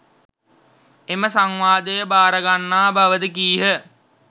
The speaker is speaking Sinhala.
එම සංවාදය භාරගන්නා බවද කීහ.